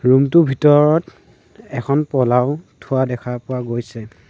Room টো ভিতৰত এখন পলাও থোৱা দেখা পোৱা গৈছে।